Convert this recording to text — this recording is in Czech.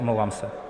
Omlouvám se.